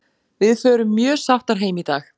Við förum mjög sáttar heim í dag.